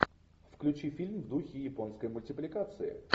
включи фильм в духе японской мультипликации